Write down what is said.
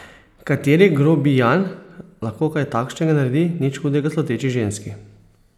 Kateri grobijan lahko kaj takšnega naredi nič hudega sluteči ženski?